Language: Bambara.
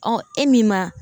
e min ma